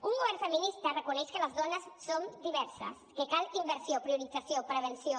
un govern feminista reconeix que les dones som diverses que cal inversió priorització prevenció